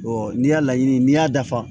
n'i y'a laɲini n'i y'a dafa